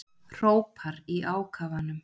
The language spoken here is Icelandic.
Hrópar í ákafanum.